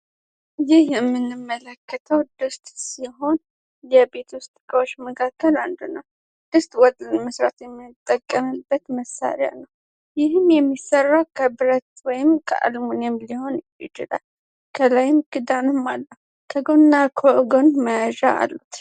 ይህ የምንመለከተው ድስት ሲሆን ከቤት ውስጥ እቃዎች መካከል አንዱ ነው የድስት ወጥ ለመስራት የምንጠቀምበት መሳሪያ ነው ይህም የሚሰራው ከብረት ሲሆን ከአልሙኒየም ሊሆን ይችላል ክዳን ያለው ሲሆንና ከጎን መያዣም አሉት።